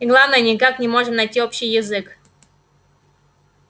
и главное никак не можем найти общий язык